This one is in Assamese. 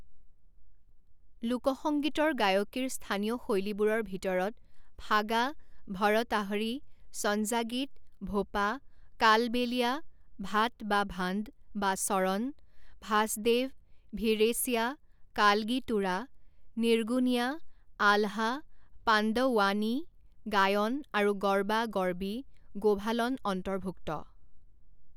লোকসঙ্গীতৰ গায়কীৰ স্থানীয় শৈলীবোৰৰ ভিতৰত ফাগা, ভৰতাহৰী, সঞ্জা গীত, ভোপা, কালবেলিয়া, ভাট বা ভাণ্ড বা চৰন, ভাসদেৱ, ভিড়েছিয়া, কালগি তুৰা, নিৰ্গুনিয়া, আলহা, পাণ্ডওৱানী গায়ন, আৰু গৰ্বা গৰ্বী গোভালন অন্তৰ্ভুক্ত।